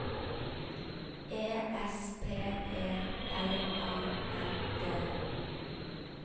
E S P E L A N D